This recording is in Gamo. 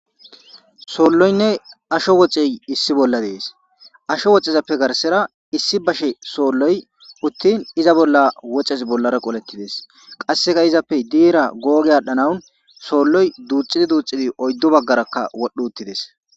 solloyne ashsho woxxey issi bolla dessi asho woxxezappe garsera issi bashshe solloy uttin izza bolla woxxezi bollara qolletides qasseka izzappe diyra goggi adhdhanawu solloy duxxidi duxxidi oyddu baggara wodhdhi uttides.